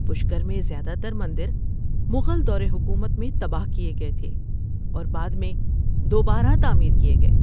پشکر میں زیادہ تر مندر مغل دور حکومت میں تباہ کیے گئے تھے اور بعد میں دوبارہ تعمیر کیے گئے۔